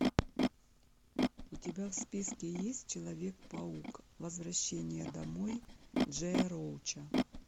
у тебя в списке есть человек паук возвращение домой джея роуча